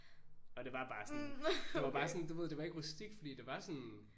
Og det var bare sådan det var bare sådan du ved det var ikke rustikt fordi det var sådan